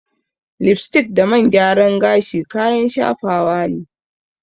Lipstick da man gyaran gashi kayan shafawa ne.